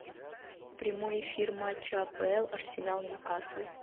прямой эфир матча апл арсенал ньюкасл